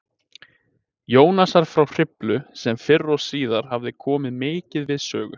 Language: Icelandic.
Jónasar frá Hriflu, sem fyrr og síðar hafði komið mikið við sögu